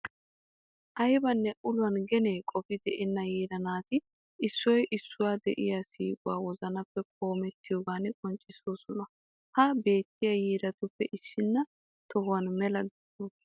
Aybanne uluwan gene qofi deenna yiira naati issoy issuwawu de'iya siiquwa wozanappe qoomettiyogan qonccissoosona. Ha beettiya yiiratuppe issinna toho mela de'awusu.